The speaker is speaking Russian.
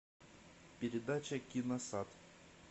передача киносад